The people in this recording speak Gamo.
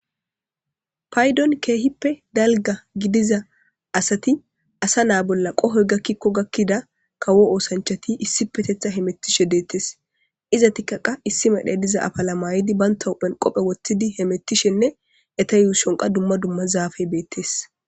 Payidoni kehipe daliga gididda assati assa na'a bolla qohoyi gakona mela kawo osanichoti issipe hemetishe detesi.izati issi mala mayo mayidi betta huphen qobbe wothidosona